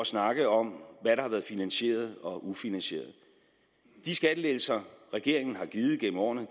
snakke om hvad der har været finansieret og ufinansieret de skattelettelser regeringen har givet gennem årene